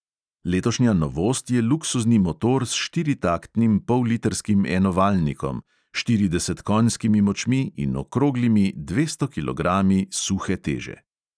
Letošnja novost je luksuzni motor s štiritaktnim pollitrskim enovaljnikom, štirideset konjskimi močmi in okroglimi dvesto kilogrami suhe teže.